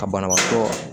Ka banabaatɔ